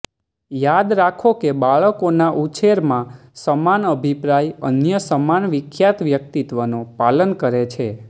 યાદ રાખો કે બાળકોના ઉછેરમાં સમાન અભિપ્રાય અન્ય સમાન વિખ્યાત વ્યક્તિત્વનો પાલન કરે છે